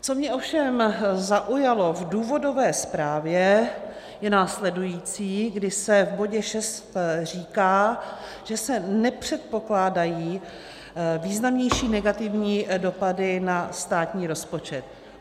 Co mě ovšem zaujalo v důvodové zprávě, je následující, kdy se v bodě 6 říká, že se nepředpokládají významnější negativní dopady na státní rozpočet.